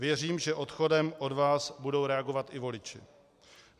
Věřím, že odchodem od vás budou reagovat i voliči.